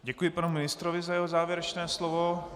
Děkuji panu ministrovi za jeho závěrečné slovo.